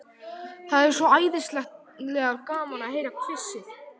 Það er svo æðislega gaman að heyra hvissið.